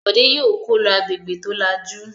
Bọ̀dé yóò kó lọ agbègbè tó lajú!